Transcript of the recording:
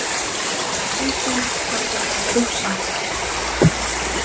Aukin samvinna við Rússa